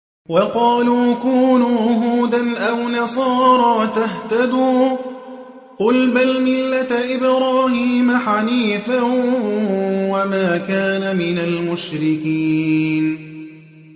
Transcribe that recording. وَقَالُوا كُونُوا هُودًا أَوْ نَصَارَىٰ تَهْتَدُوا ۗ قُلْ بَلْ مِلَّةَ إِبْرَاهِيمَ حَنِيفًا ۖ وَمَا كَانَ مِنَ الْمُشْرِكِينَ